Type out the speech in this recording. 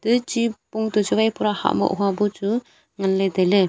janchi pung to chu wai pura hahmoh wapu chu ngan le tailey.